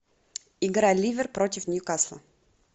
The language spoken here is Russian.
игра ливер против ньюкасла